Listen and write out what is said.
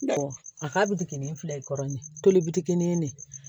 a ka bi digɛnen fila ye kɔrɔ ɲe tolikini de ye